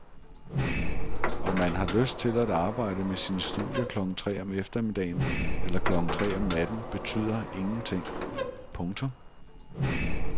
Om man har lyst til at arbejde med sine studier klokken tre om eftermiddagen eller klokken tre om natten betyder ingenting. punktum